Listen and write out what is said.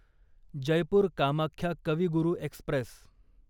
Jaipur Kamakhya Kavi Guru Express